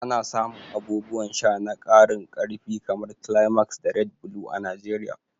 Ana samun abubuwan sha na karin karfi kamar Climax da Red Blue a Najeriya.